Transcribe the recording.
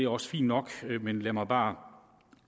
også fint nok men lad mig bare